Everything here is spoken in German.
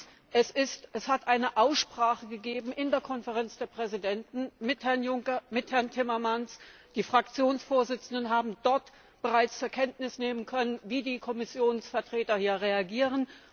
Drittens Es hat eine Aussprache in der Konferenz der Präsidenten mit Herrn Juncker, mit Herrn Timmermans gegeben. Die Fraktionsvorsitzenden haben dort bereits zur Kenntnis nehmen können, wie die Kommissionsvertreter hier reagieren.